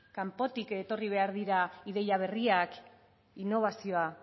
kanpotik etorri behar dira ideia berriak innobazioa